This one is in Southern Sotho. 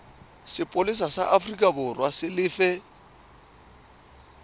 sepolesa sa aforikaborwa e lefe